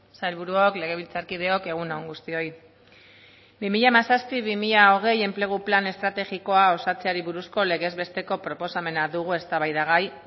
sailburuok legebiltzarkideok egun on guztioi bi mila hamazazpi bi mila hogei enplegu plan estrategikoa osatzeari buruzko legez besteko proposamena dugu eztabaidagai